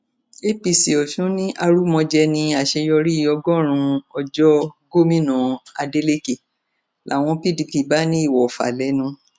apc ọsùn ní arúmọjẹ ní àṣeyọrí ọgọrùnún ọjọ gómìnà adeleke làwọn pdp bá ní ìwòfà lẹnu